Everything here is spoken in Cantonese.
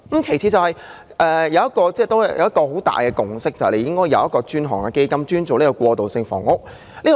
其次，社會的一大共識是政府應設有專項基金，處理過渡性房屋的供應。